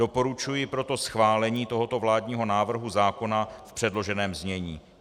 Doporučuji proto schválení tohoto vládního návrhu zákona v předloženém znění.